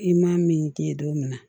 I ma min k'i ye don min na